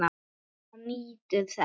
Helgi nýtur þess.